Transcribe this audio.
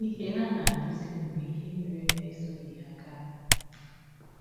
Ihe ha na - ajụzi m bụ ihe mere na esọghị m ha gaa.